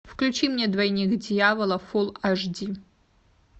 включи мне двойник дьявола фулл аш ди